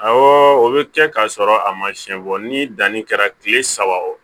Awɔ o bɛ kɛ k'a sɔrɔ a ma siyɛn bɔ ni danni kɛra tile saba o